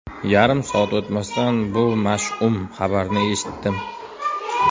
Yarim soat o‘tmasdan bu mash’um xabarni eshitdim.